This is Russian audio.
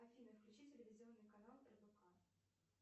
афина включи телевизионный канал рбк